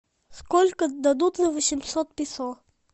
сколько дадут за восемьсот песо